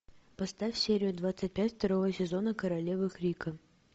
поставь серию двадцать пять второго сезона королевы крика